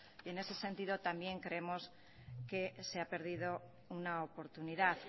y en ese sentido también creemos que se ha perdido una oportunidad